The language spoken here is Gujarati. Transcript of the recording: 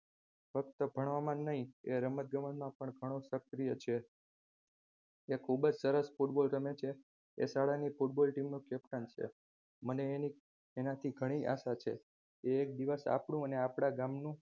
ફક્ત ભણવામાંજ નહિ એ રમત ગમતમાં પણ ઘણો સક્રિય છે તે ખુબજ સરસ football રમે છે એ શાળાની football team નો captain છે મને આનાથી ઘણી આશા છે એક દિવસ આપણું અને આપણા ગામનું